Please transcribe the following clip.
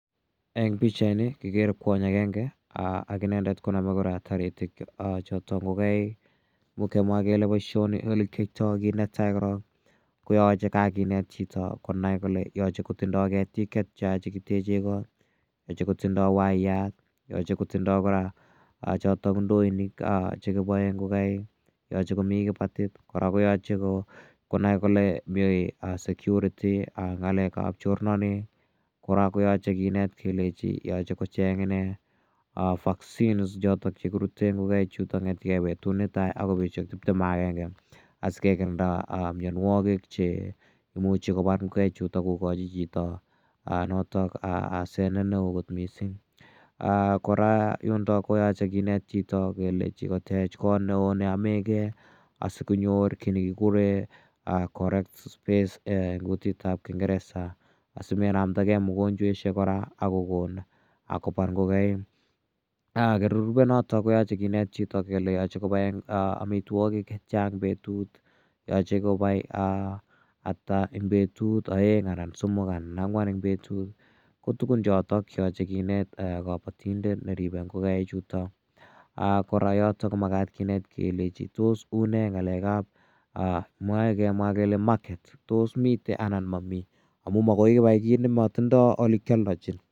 Eng' pichaini kekere kwony agenge ak inendet konamei taritik chotok ngokaik. Imuch kemwa kele poishoni ole kiyaitai kiit ne tai korok ko yache kakinet chito konai kole yache kotindai ketik che tia che kiteche kot, yache kotindai waiyat, yache kotindai chotok ndoinik che kipae ngokaik, yache komi kipatit. Kora ko yache konai kole mi security, ng'alekap chornanet. Kora ko yache kinet kora kelechi yache kocheng' ine vaccines chotok che kirute ngokaik chutok kong'ete gei petut ne tai akoi petut nepo tiptem ak agenge asikekirinda mianwogik che imuchi kopar ngokaichutok kokachi chichitok asenet ne o kot missing'. Kora yundok ko yache kinet chito kelechi kotech kot ne oo ne yame gei asikonyor ki ne kikure correct space eng' kutit ap kingeresa asimenamda gei mogonchweshek kora ako kon kopar ngokaik. Kora nerupe yotok koyache kinet chito kole yae kopae amitwogik che tia eng' petut. Yache kopai ata eng' petut, aeng' anan somok anan ko ang'wan eng' petut, ko tugun chotok che yache kinet kapatindet neripe ngokaichutok. Kora yotok ko makat kinet kelechi tos une ng'alek ap kimae kemwa kele market. Tos mitei anan mami? Amu makoi ipai ki ne matindai ole kialdachin.